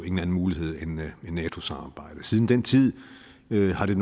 mulighed end nato samarbejdet siden den tid har det